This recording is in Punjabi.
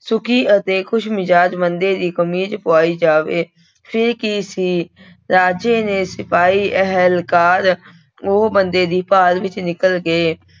ਸੁੱਖੀ ਅਤੇ ਖ਼ੁਸ਼ਮਿਜ਼ਾਜ਼ ਬੰਦੇ ਦੀ ਕਮੀਜ਼ ਪਵਾਈ ਜਾਵੇ, ਫਿਰ ਕੀ ਸੀ ਰਾਜੇ ਨੇ ਸਿਪਾਹੀ ਅਹਿਲਕਾਰ ਉਹ ਬੰਦੇ ਦੀ ਭਾਲ ਵਿੱਚ ਨਿਕਲ ਗਏ।